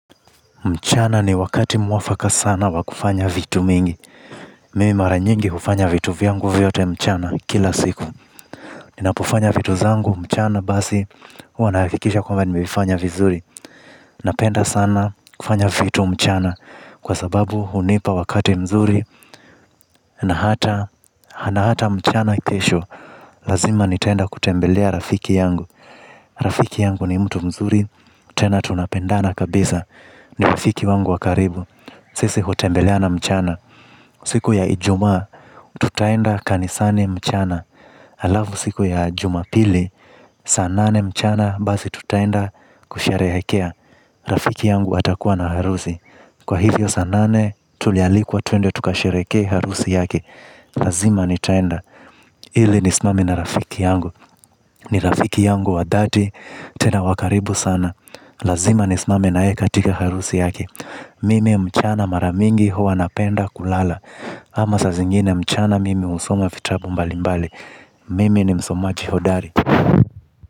Mchana ni wakati mwafaka sana wakufanya vitu mingi. Mimi mara nyingi hufanya vitu vyangu vyote mchana kila siku. Ninapofanya vitu zangu mchana basi. Huwa na hakikisha kwamba nimeifanya vizuri. Napenda sana kufanya vitu mchana. Kwa sababu hunipa wakati mzuri na hata na hata mchana kesho. Lazima nitaenda kutembelea rafiki yangu. Rafiki yangu ni mtu mzuri. Tena tunapendana kabisa. Ni rafiki wangu wa karibu. Sisi hutembeleana mchana. Siku ya ijumaa tutaenda kanisani mchana alafu siku ya jumapili saa nane mchana basi tutaenda kusherehekea. Rafiki yangu atakuwa na harusi. Kwa hivyo saa nane tulialikwa tuende tukashereheke harusi yake. Lazima nitaenda. Ili nisimame na rafiki yangu ni rafiki yangu wa dhati tena wa karibu sana. Lazima nisimame na yeye katika harusi yake. Mimi mchana mara mingi huwa napenda kulala. Ama saa zingine mchana mimi husoma fitabu mbalimbali. Mimi ni msomaji hodari.